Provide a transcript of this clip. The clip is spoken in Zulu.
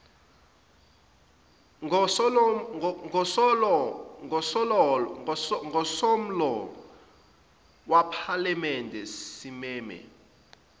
ngosomlomo wephalamende simeme